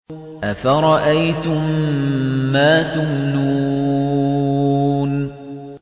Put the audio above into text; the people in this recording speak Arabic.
أَفَرَأَيْتُم مَّا تُمْنُونَ